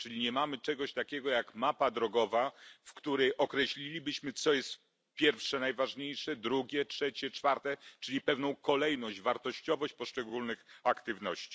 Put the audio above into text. Czyli nie mamy czegoś takiego jak mapa drogowa, w której określilibyśmy, co jest pierwsze najważniejsze, drugie, trzecie, czwarte czyli pewną kolejność, wartościowość poszczególnych aktywności.